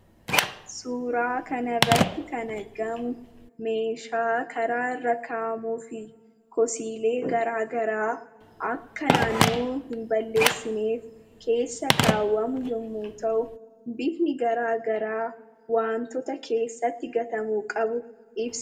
Suuraa kanarratti kan argamu, meeshaa karaarra kaa'amuu fi kosiilee garaagaraa akka naannoo hin balleessineef keessa kaawwamu yommuu ta'u, bifni garaagaraa wantoota keessatti gatamuu qabu ibsa.